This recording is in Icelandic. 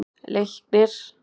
Leiknir